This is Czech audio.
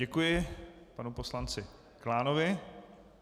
Děkuji panu poslanci Klánovi.